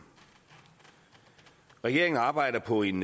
regeringen arbejder på en